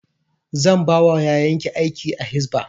Zan ba wa yayan ki aiki a hisba